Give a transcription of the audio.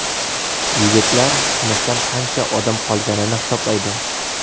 Yigitlar sinfdan qancha odam qolganini hisoblaydi.